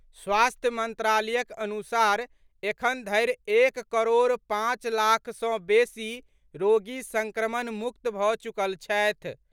स्वास्थ्य मंत्रालयक अनुसार एखन धरि एक करोड़ पांच लाख सँ बेसी रोगी संक्रमण मुक्त भऽ चुकल छथि।